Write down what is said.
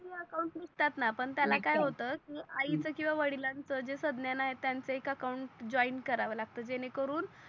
अस account निगतात णा निगतात पण त्याला काय होतय की आईच किवा वडिलांच जे संज्ञान आहे त्यांच एक अकाउन्ट जोइंड कारव लागत जेणे करून